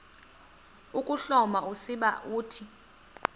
ukuhloma usiba uthi